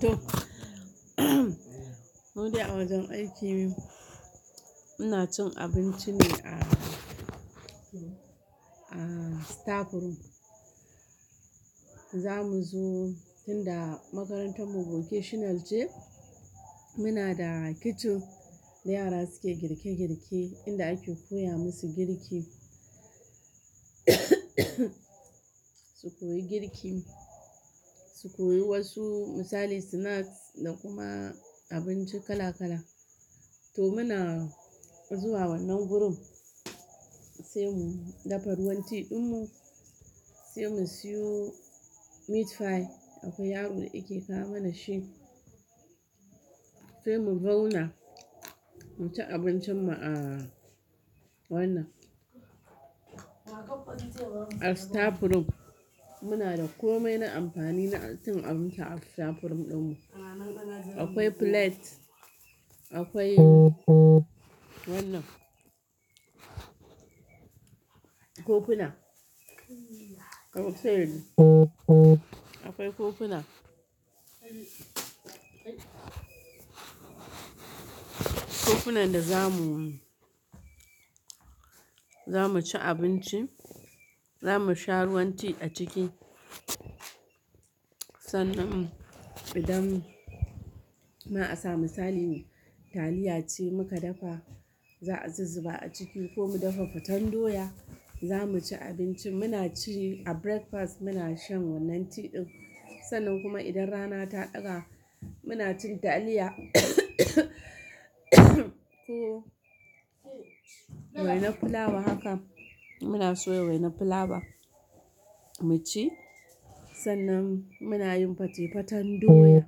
To. Mu dai a wajen aikinmu, muna cin abinci ne a, a staff room. Za mu zo tun da makarantar mu vocational ce, muna da kitchen da yara suke girke girke inda ake koya musu girki. Su koyi girki, su koyi wasu misali snacks da kuma abinci kala kala. To muna zuwa wannan room, sai mu dafa ruwan tea ɗin mu, sai mu siyo meat pie akwai yaron da yake kawo mana shi, sai mu zauna mu ci abincin mu a wannan. A staff room muna da komai na amfani na cin abinci a staff room din mu. Akwai plate, akwai wannan. Kofuna. Akwai kofuna. Kofuna da zamu, zamu ci abinci, zamu sha ruwan tea a ciki. Sannan idan, ma a sa misali taliya ce muka dafa, za a zuba a ciki ko mu dafa faten doya, zamu ci abinci. Muna ci a breakfast muna shan wannan tea ɗin. Sannan kuma idan rana ta ɗaga muna cin taliya ko wainar fulawa haka, muna soya wainar fulawa mu ci. Sannan muna yin fatefaten doya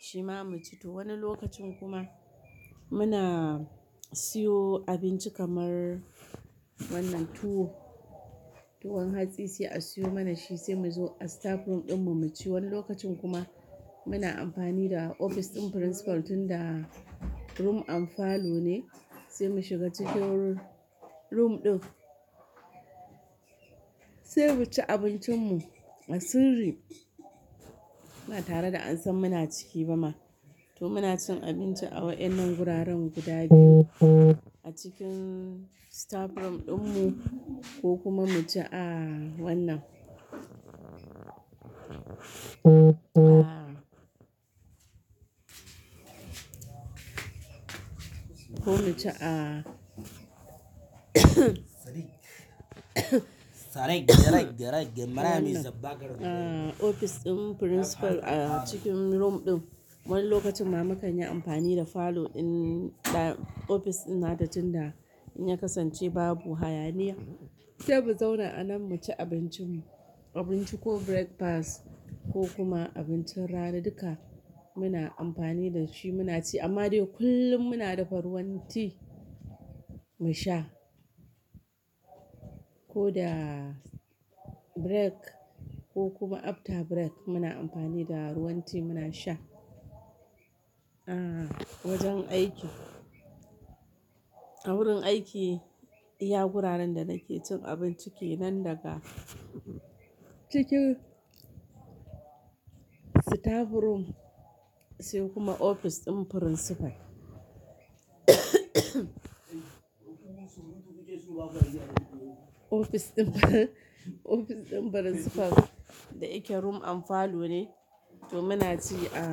shima mu ci. To wani lokacin kuma muna siyo abinci kamar wannan tuwo, tuwon hatsi sai a siyo mana shi sai mu zo a staff room din mu mu ci. Wani lokacin kuma muna amfani da ofis ɗin principal tunda room and falone sai mu shiga cikin room ɗin, sai mu ci abincin mu a sirri. Ba tare da an san muna ciki ba ma. To muna cin abinci a wa'ennan guraren guda biyu a cikin staff room din mu ko kuma mu ci a wannan. A ko mu ci a A ofis ɗin principal a cikin room ɗin. Wani lokacin ma mukan yi amfani da falo ɗin da ofis ɗin na da tunda in ya kasance babu hayaniya, sai mu zauna a nan mu ci abincin mu, abinci ko breakfast ko kuma abincin rana duka muna amfani da shi muna ci. Amma dai kullum muna dafa ruwan tea mu sha. Ko da break ko kuma after break muna amfani da ruwan tea muna sha. A wajen aiki. A wurin aiki, iya guraren da nake cin abinci ke nan daga cikin staff room sai kuma ofis ɗin principal. Ofis ɗin ofis ɗin principal da yake room anfalone. To muna ci a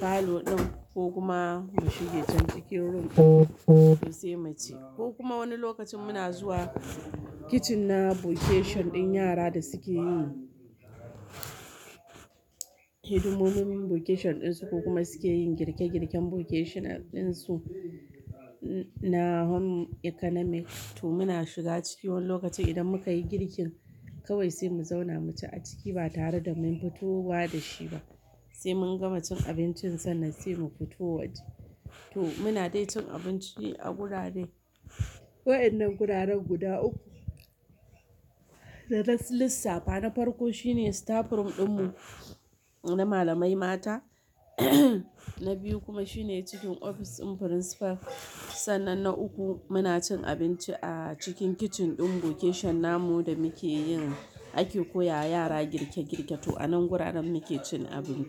falo ɗin ko kuma mu shiga can cikin room ɗin sai mu ci, ko kuma wani lokacin muna zuwa kitchen na vocation ɗin yara da suke yin hidimomin vocation ɗinsu ko kuma suke yin girke girken vocational ɗinsu na home economic. To muna shiga ciki wani lokacin idan muka yi girkin kawai sai mu zauna mu ci a ciki ba tare da mun fito ba da shi ba. Sai mun gama cin abincin sannan sai mu fito waje. To muna dai cin abinci ne a gurare. Wa'ennan guraren guda uku. Da lissafa, na farko shine staff room din mu na malamai mata. Na biyu kuma shine cikin ofis ɗin principal. Sannan na uku muna cin abinci a cikin kitchen ɗin vocation namu da muke yin ake koya wa yara girke girke. To a nan guraren muke cin abinci.